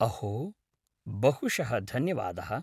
अहो, बहुशः धन्यवादः।